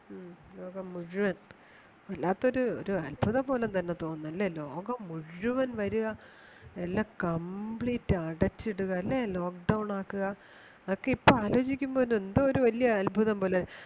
ലോകംമുഴുവൻ വല്ലാത്തൊരു അത്ഭുതം പോലെ തോന്നുന്നു അല്ലേ ലോകം മുഴുവൻ വരുക എല്ലാം complete അടച്ചിടുക Lock Down ആകുക അതൊക്കെ ഇപ്പോ ആലോചിക്കുമ്പോൾ തന്നെ എന്തോ ഒരു വലിയ അത്ഭുതം പോലെ